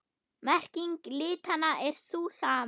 Merking litanna er sú sama.